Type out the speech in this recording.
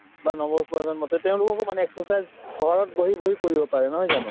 বা নৱ প্ৰজন্মতে তেওঁলোককো মানে exercise ঘৰত বহি বহি কৰিব পাৰে নহয় জানো